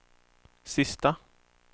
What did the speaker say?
sista